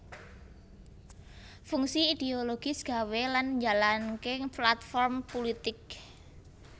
Fungsi idiologis gawé lan njalanké platform pulitik